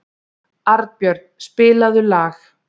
Arnbjörn, spilaðu lag.